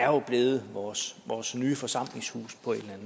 jo er blevet vores vores nye forsamlingshus på et